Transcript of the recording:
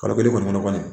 Kalo kelen kɔni